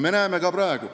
Me näeme seda ka praegu.